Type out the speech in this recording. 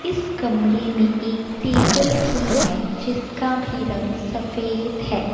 इस कमरे में एक टेबल भी है जिसका भी रंग सफेद है।